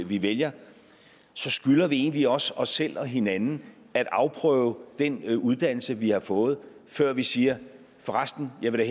vi vælger så skylder vi egentlig også os selv og hinanden at afprøve den uddannelse vi har fået før vi siger for resten jeg vil